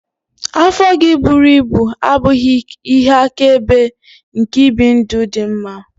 Afọ gị buru ibu abụghị ihe akaebe nke ibi ndụ dị mma.